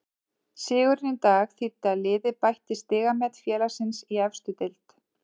Sigurinn í dag þýddi að liðið bætti stigamet félagsins í efstu deild.